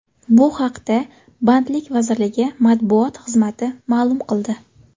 Bu haqda Bandlik vazirligi matbuot xizmati ma’lum qildi .